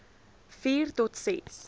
vier tot ses